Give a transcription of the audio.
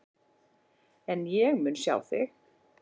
En ég mun sjá þig.